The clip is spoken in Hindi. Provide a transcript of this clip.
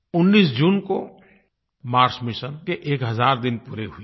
19 जून को मार्स मिशन के एक हज़ार दिन पूरे हुए हैं